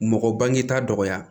Mɔgɔ bangeta dɔgɔya